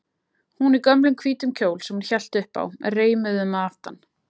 Hún í gömlum hvítum kjól sem hún hélt upp á, reimuðum að aftan.